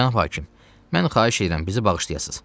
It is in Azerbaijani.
Cənab hakim, mən xahiş edirəm bizi bağışlayasız.